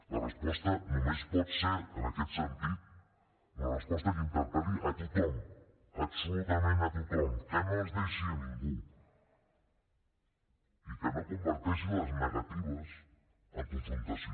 la resposta només pot ser en aquest sentit una resposta que interpel·li a tothom absolutament a tothom que no es deixi a ningú i que no converteixi les negatives en confrontació